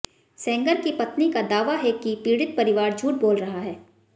सेंगर की पत्नी का दावा है कि पीडि़त परिवार झूठ बोल रहा है